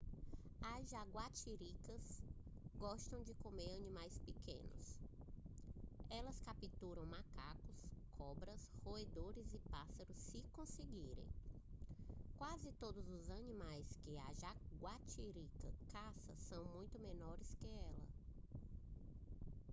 as jaguatiricas gostam de comer animais pequenos elas capturam macacos cobras roedores e pássaros se conseguirem quase todos os animais que a jaguatirica caça são muito menores que ela